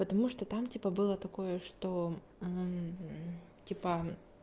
потому что там типа было такое что типа